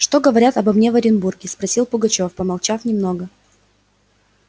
что говорят обо мне в оренбурге спросил пугачёв помолчав немного